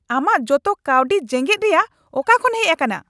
ᱟᱢᱟᱜ ᱡᱚᱛᱚ ᱠᱟᱹᱣᱰᱤ ᱡᱮᱜᱮᱛ ᱨᱮᱭᱟᱜ ᱚᱠᱟ ᱠᱷᱚᱱ ᱦᱮᱡ ᱟᱠᱟᱱᱟ ?